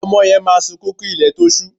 Ọmọ yẹn máa sunkún kí ilẹ̀ tó ṣú